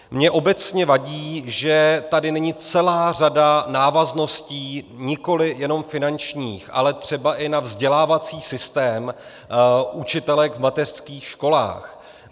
Mně obecně vadí, že tady není celá řada návazností, nikoli jenom finančních, ale třeba i na vzdělávací systém učitelek v mateřských školách.